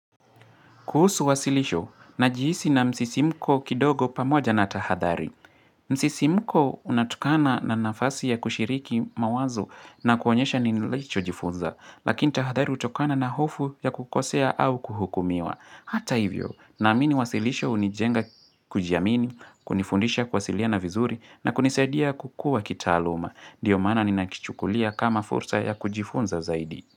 Kuhusu wasilisho, najihisi na msisimko kidogo pamoja na tahadhari. Msisimko unatokana na nafasi ya kushiriki mawazo na kuonyesha nilicho jifunza, lakini tahadhari hutokana na hofu ya kukosea au kuhukumiwa. Hata hivyo, naamini wasilisho unijenga kujiamini, kunifundisha kuwasiliana vizuri na kunisaidia kukua kitaaluma. Dio maana ni nakichukulia kama fursa ya kujifunza zaidi.